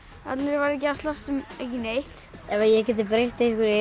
allir væru ekki að slást um ekki neitt ef ég gæti breytt einhverju í